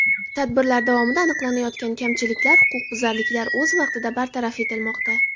Tadbirlar davomida aniqlanayotgan kamchiliklar, huquqbuzarliklar o‘z vaqtida bartaraf etilmoqda.